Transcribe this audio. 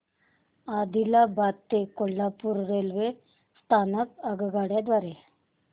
आदिलाबाद ते कोल्हापूर रेल्वे स्थानक आगगाडी द्वारे